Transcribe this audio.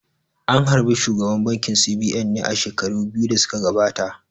An harbi shugaban bankin C.B.N ne a shekaru biyu da suka gabata